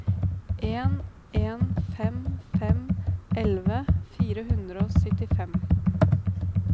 en en fem fem elleve fire hundre og syttifem